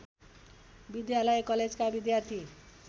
विद्यालयकलेजका विद्यार्थी